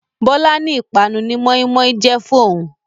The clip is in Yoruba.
Bọlá ni ìpanu ni moin-moin jẹ fún òhun oo